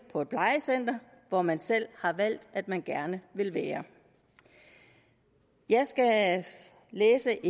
på et plejecenter hvor man selv har valgt at man gerne vil være jeg skal læse